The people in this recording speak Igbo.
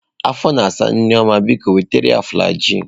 Afọ na asa Nneoma, biko wetara ya flajilụ.